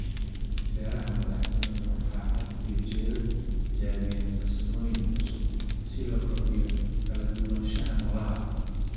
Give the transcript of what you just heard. Beeraha madax-banaan waxay had iyo jeer tijaabiyaan farsamooyin cusub si loo kordhiyo kala duwanaanshaha noolaha.